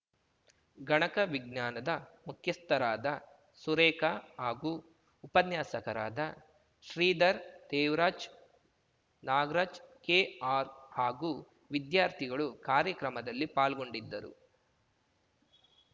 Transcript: ಗಣಕ ವಿಜ್ಞಾನದ ಮುಖ್ಯಸ್ಥರಾದ ಸುರೇಖ ಹಾಗೂ ಉಪನ್ಯಾಸಕರಾದ ಶ್ರೀಧರ್‌ ದೇವರಾಜ್‌ ನಾಗರಾಜ್‌ ಕೆ ಆರ್‌ ಹಾಗೂ ವಿದ್ಯಾರ್ಥಿಗಳು ಕಾರ್ಯಕ್ರಮದಲ್ಲಿ ಪಾಲ್ಗೊಂಡಿದ್ದರು